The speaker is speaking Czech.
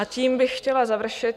A tím bych chtěla završit.